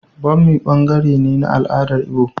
Bommi ɓangare ne na al'adar Igbo.